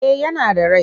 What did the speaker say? Eh yana da rai.